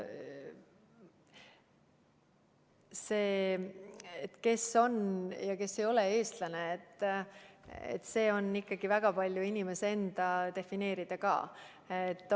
See, kes on ja kes ei ole eestlane, on ikkagi väga paljus inimese enda defineerida ka.